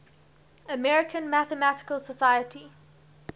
american mathematical society